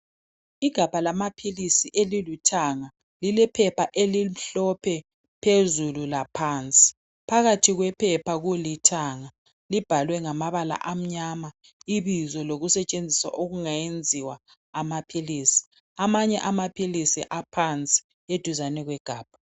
Igabha lamaphilisi elilithanga, lilephepha elimhlophe phezulu laphansi. Phakathi kwephepha kulithanga, libhalwe ngamabala amnyama ibizo lolusetshenziswa okungayenziwa amaphilisi. Amanye amaphilisi aphansi eduzane kwegabha.